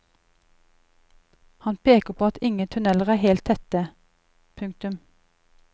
Han peker på at ingen tunneler er helt tette. punktum